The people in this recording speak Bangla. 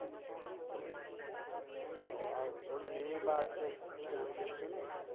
ওহ আর ওর মেয়ে বা কেউ ছেলে কিছু নেই?